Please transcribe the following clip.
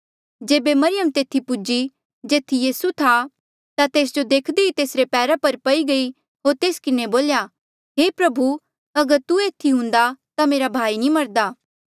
जेबे मरियम तेथी पूजी जेथी यीसू था ता तेस जो देखदे ही से तेसरे पैरा पई गई होर तेस किन्हें बोल्या हे प्रभु अगर तू एथी हुन्दा ता मेरा भाई नी मरदा